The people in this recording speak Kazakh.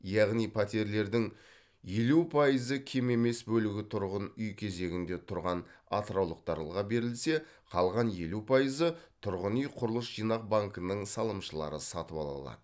яғни пәтерлердің елу пайызы кем емес бөлігі тұрғын үй кезегінде тұрған атыраулықтарға берілсе қалған елу пайызы тұрғын үй құрылыс жинақ банкінің салымшылары сатып ала алады